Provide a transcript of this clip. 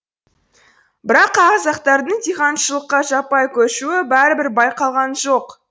бірақ қазақтардың диқаншылыққа жаппай көшуі бәрібір байқалған жоқ